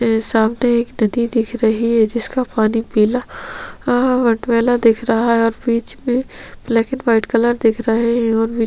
सामने एक नदी दिख रही जिसका पानी पीला मटमैला दिख ओर बीच मे ब्लैक एंड व्हाइट दिख रहे है ओर बीच--